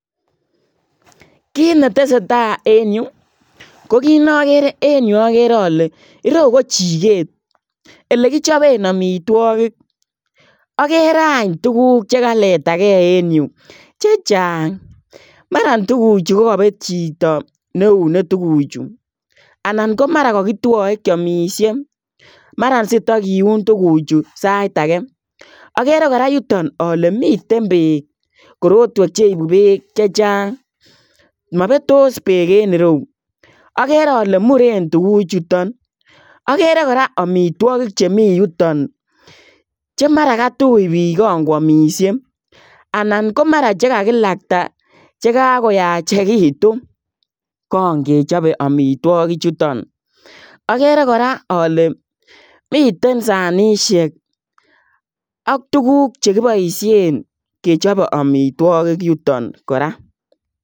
Kiit ne tesetai en Yuu ko kiit nagere en Yuu agere ale ireyuu ko chikeet ele kichapeen amitwagiik agere aany tuguuk che kaletagei en Yuu che chaang maran tuguchuu ko ko chapee chitoo ne iunee tuguuk chuu anan ko mara kakitwae kiamishe mara sitakiuun tuguuk chuu sait age agere kora yutoon ale miten beek korotweek che ibuu beek che chaang mabetos beek en ireyuu agere ale Mureen tuguuk chutoon agere kora amitwagiik che Mii Yutoon che mara katuuch biik kaan ko yamishe anan ko mara chekakilakta chekakoyachekituun kangechape amitwagiik chutoon agere kora ale miten sanisheek ak tuguuk che kibaisheen kechape amitwagiik yutoon kora.